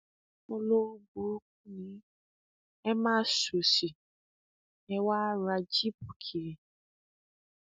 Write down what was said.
ni yín ẹ máa ṣòsì ẹ wá ń ra jíìpù kiri